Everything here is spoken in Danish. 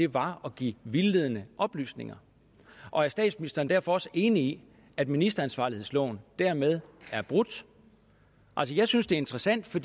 var at give vildledende oplysninger og er statsministeren derfor også enig i at ministeransvarlighedsloven dermed er brudt altså jeg synes det er interessant for